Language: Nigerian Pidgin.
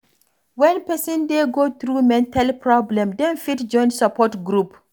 When person dey go through mental problem dem fit join support group